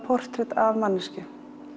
portrett af manneskju